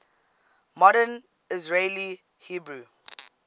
modern israeli hebrew